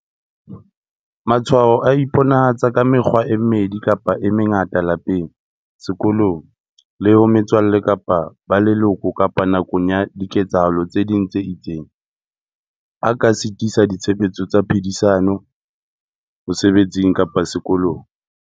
"Matshwao a iponahatsa ka mekgwa e mmedi kapa e mengata lapeng, sekolong, le ho metswalle kapa ba leloko kapa nakong ya diketsahalo tse ding tse itseng, a ka sitisa ditshebetso tsa phedisano, mosebetsing kapa sekolong."